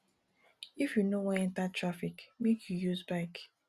if you no wan enta traffic make you use bike